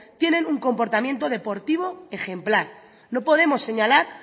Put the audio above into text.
tienen un comportamiento deportivo ejemplar no podemos señalar